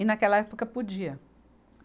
E naquela época podia.